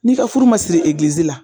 N'i ka furu ma siri egilizi la